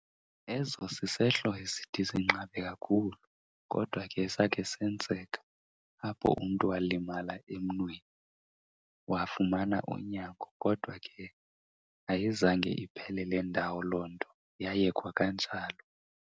Eso sisehlo esithi sinqabe kakhulu, kodwa ke sakhe senzeka apho umntu walimala emnweni. Wafumana unyango kodwa ke ayizange iphelele ndawo loo nto yayekwa kanjalo.